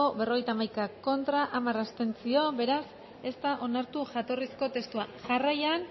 berrogeita hamaika contra hamar abstentzio beraz ez da onartu jatorrizko testua jarraian